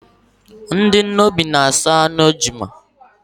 Ndị Nnobi na aso anụ ejuna